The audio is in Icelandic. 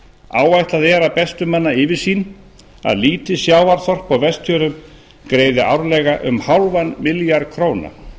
áætlað er að bestu manna yfirsýn að lítið sjávarþorp á vestfjörðum greiði árlega um hálfan milljarð króna